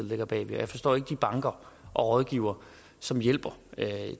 ligger bag og jeg forstår ikke de banker og rådgivere som hjælper